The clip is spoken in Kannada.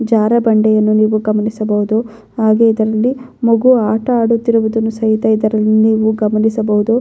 ಜಾರೊ ಬಂಡೆಯನ್ನು ನೀವು ಗಮನಿಸಬಹುದು ಹಾಗೆ ಇದರಲ್ಲಿ ಮಗು ಆಟ ಆಡುತ್ತಿರುವುದನ್ನು ಸಹಿತ ಇದರಲ್ಲಿ ನೀವು ಗಮನಿಸಬಹುದು.